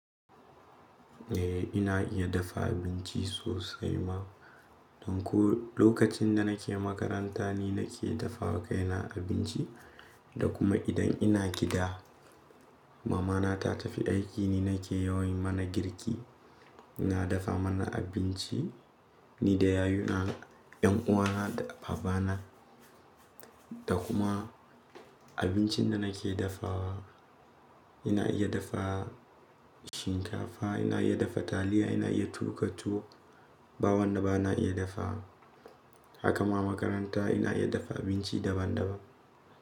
Eh ina iya dafa abinci sosai ma. Don ko lokacin da nake makaranta ni nake dafa wa kaina abinci da kuma idan ina gida. Mama na ta tafi aiki ni nake yawon mana girki. Na dafa mana abinci ni da yayuna, 'yan uwana da baba na. Da kuma abincin da nake dafawa, ina iya dafa shinkafa, ina iya dafa taliya, ina iya tuƙa tuwo. Ba wanda ba na iya dafawa. Haka ma makaranta ina iya dafa abinci daban daban.